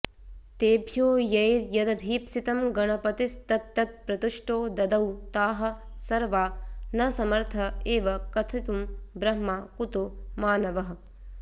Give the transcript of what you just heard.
तेभ्यो यैर्यदभीप्सितं गणपतिस्तत्तत्प्रतुष्टो ददौ ताः सर्वा न समर्थ एव कथितुं ब्रह्मा कुतो मानवः